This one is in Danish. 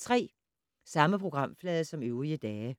Samme programflade som øvrige dage